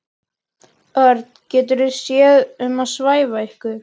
Örn getur séð um að svæfa ykkur.